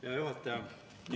Hea juhataja!